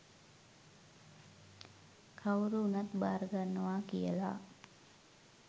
කවුරු වුණත් භාර ගන්නවා කියලා.